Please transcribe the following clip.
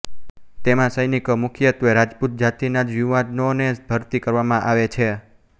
તેમાં સૈનિકો મુખ્યત્તે રાજપૂત જાતિ ના જ યુવાનો ને ભરતી કરવામાં આવે છે